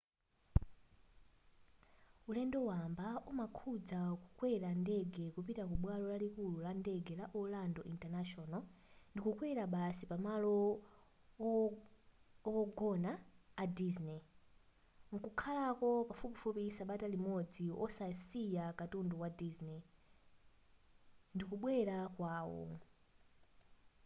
ulendo wamba umakhudza kukwera ndege kupita kubwalo lalikulu la ndege la orlando international ndikukwera basi pamalo owogona a disney mkukhalako pafupifupi sabata imodzi osasiya katundu wa disney ndikubwelera kwawo